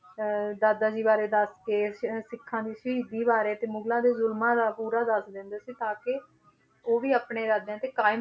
ਅਹ ਦਾਦਾ ਜੀ ਬਾਰੇ ਦੱਸ ਕੇ ਅਹ ਸਿੱਖਾਂ ਦੀ ਸ਼ਹੀਦੀ ਬਾਰੇ ਤੇ ਮੁਗ਼ਲਾ ਦੇ ਜ਼ੁਲਮਾਂ ਦਾ ਪੂਰਾ ਦੱਸਦੇ ਹੁੰਦੇ ਸੀ ਤਾਂ ਕਿ ਉਹ ਵੀ ਆਪਣੇ ਇਰਾਦਿਆਂ ਤੇ ਕਾਇਮ